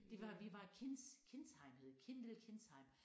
Det var vi var Kins Kinsheim hed Kin det hed Kinsheim